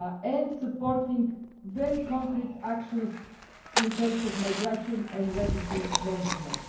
and supporting very concrete actions in terms of migration and refugee management.